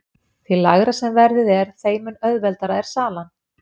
Því lægra sem verðið er þeim mun auðveldari er salan.